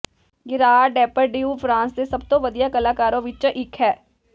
Gerard Depardieu France ਦੇ ਸਭ ਤੋਂ ਵਧੀਆ ਕਲਾਕਾਰਾਂ ਵਿੱਚੋਂ ਇੱਕ ਹੈ